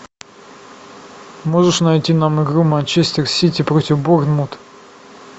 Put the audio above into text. можешь найти нам игру манчестер сити против борнмут